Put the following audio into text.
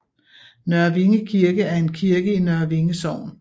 Nørre Vinge Kirke er en kirke i Nørre Vinge Sogn